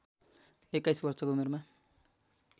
२१ वर्षको उमेरमा